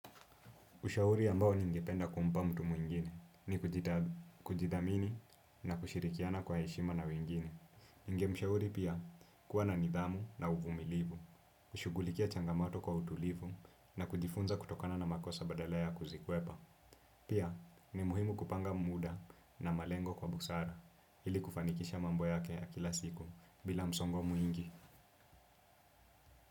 Ushauri ambao ningependa kumpa mtu mwingine ni kujidhamini na kushirikiana kwa heshima na wengine. Ningemshauri pia kuwa na nidhamu na uvumilivu, kushugulikia changamato kwa utulivu na kujifunza kutokana na makosa badala ya kuzikukwepa. Pia ni muhimu kupanga muda na malengo kwa busara ili kufanikisha mambo yake ya kila siku bila msongo mwingi.